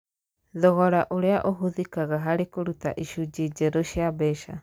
Thogora ũrĩa ũhũthĩkaga harĩ kũruta icunjĩ njerũ cia mbeca.